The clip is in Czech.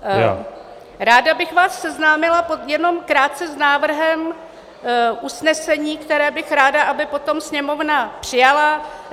Ráda bych vás seznámila jenom krátce s návrhem usnesení, které bych ráda, aby potom Sněmovna přijala.